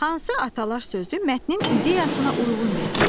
Hansı atalar sözü mətnin ideyasına uyğun gəlir?